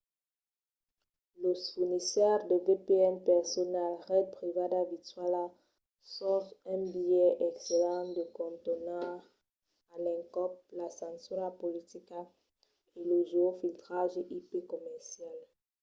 los fornisseires de vpn personals ret privada virtuala son un biais excellent de contornar a l'encòp la censura politica e lo geofiltratge ip comercial